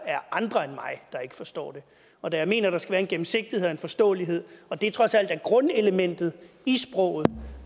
andre end mig der ikke forstår det og da jeg mener at der skal være en gennemsigtighed og en forståelighed og at det trods alt er grundelementet i sproget